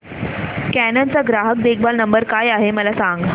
canon चा ग्राहक देखभाल नंबर काय आहे मला सांग